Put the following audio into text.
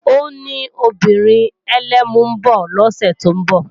Ó ní obìnrin ẹlẹ́mu ń bọ̀ lọ́sẹ̀ tó ń bọ̀